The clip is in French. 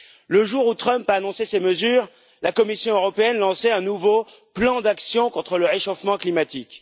Le jour où Trump a annoncé ces mesures, la Commission européenne lançait un nouveau plan d'action contre le réchauffement climatique.